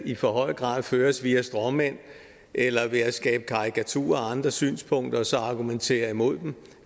i for høj grad føres via stråmænd eller ved at skabe karikaturer af andres synspunkter og så argumentere imod dem